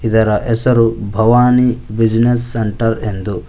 ಇದರ ಹೆಸರು Bhavani Business Centre ಎಂದು--